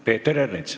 Peeter Ernits.